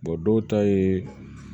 dɔw ta ye